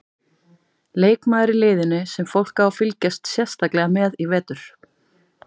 Leikmaður í liðinu sem fólk á að fylgjast sérstaklega með í vetur?